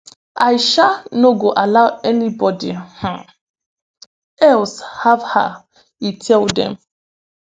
i um no go allow anybody um else have her e tell dem